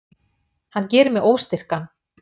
Hann gerir mig óstyrkan.